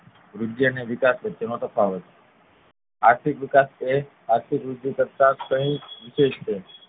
વૃદ્ધિ અને વિકાસ વચ્ચે નો તફાવત આર્થિક વિકાસ એ આર્થિક વૃદ્ધિ કરતા કંઈક વિશેસ છે